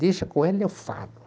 Deixa, com ela eu falo.